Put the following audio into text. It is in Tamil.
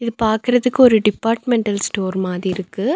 இது பாக்குறதுக்கு ஒரு டிபார்ட்மெண்டல் ஸ்டோர் மாதி இருக்கு.